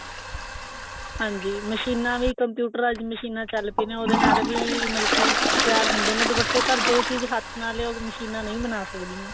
ਹਾਂਜੀ ਮਸ਼ੀਨਾ ਵੀ computerized ਮਸ਼ੀਨਾ ਚੱਲ ਪਿਆਂ ਉਹਦੇ ਨਾਲ ਵੀ ਮਤਲਬ ਕਿ ਤਿਆਰ ਹੁੰਦੇ ਨੇ ਦੁਪੱਟੇ ਪਰ ਜੋ ਚੀਜ ਹੱਥ ਨਾਲ ਐ ਉਹ ਮਸ਼ੀਨਾਂ ਨਹੀਂ ਬਣਾ ਸਕਦੀਆ